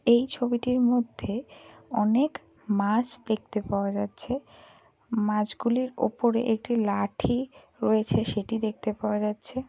এই ছবিটির মধ্যে অনেক মাছ দেখতে পাওয়া যাচ্ছে। মাছগুলির উপরে একটি লাঠি রয়েছে সেটি দেখতে পাওয়া যাচ্ছে।